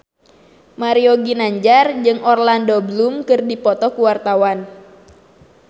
Mario Ginanjar jeung Orlando Bloom keur dipoto ku wartawan